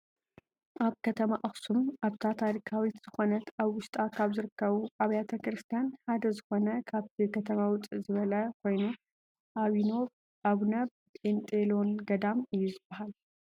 ኣብ ከተማ ኣክሱም ኣብታ ታሪካዊት ዝኮነት ኣብ ውሽጣ ካብ ዝርከቡ ኣብያተ ቤተ ክርስትያን ሓደ ዝኮነ ካብቲ ከተማ ውፅእ ዝበለ ኮይኑ ኣቡነ ጰንጦሎን ገዳም እዩ ዝብሃል።